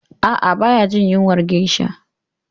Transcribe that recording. A'a, baya jin yunwar geisha